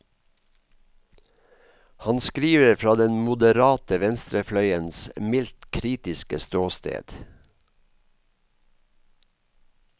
Han skriver fra den moderate venstrefløyens mildt kritiske ståsted.